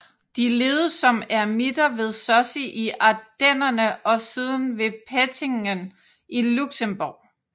De levede som eremitter ved Sussy i Ardennerne og siden ved Pettingen i Luxembourg